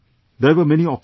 There were many options